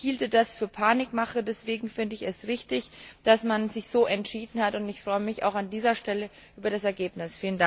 Ich halte das für Panikmache, deswegen finde ich es richtig, dass man sich so entschieden hat, und ich freue mich auch an dieser Stelle über das Ergebnis.